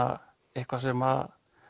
eitthvað sem